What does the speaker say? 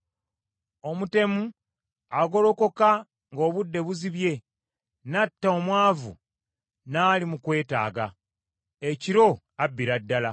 Omutemu agolokoka nga obudde buzibye n’atta omwavu n’ali mu kwetaaga; ekiro abbira ddala.